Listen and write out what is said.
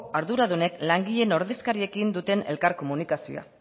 arduradunek langileen ordezkariekin duten elkar komunikazioa